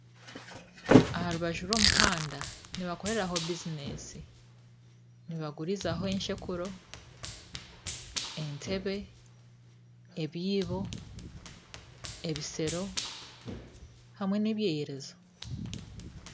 Aha rubaju rw'omuhanba nibakoreraho bizinesi nibagurizaho enshekuro , entebe, ebyiibo, ebishero hamwe na ebyeyerezo.